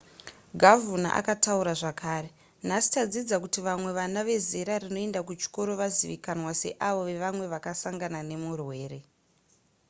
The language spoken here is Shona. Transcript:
gavhuna akataura zvekare nhasi tadzidza kuti vamwe vana vezera rinoenda kuchikoro vazivikanwa seavo vevamwe vakasangana nemurwere